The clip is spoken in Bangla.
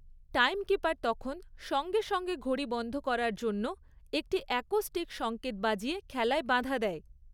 টাইমকিপার তখন সঙ্গে সঙ্গে ঘড়ি বন্ধ করার জন্য একটি অ্যাকোস্টিক সংকেত বাজিয়ে খেলায় বাধা দেয়।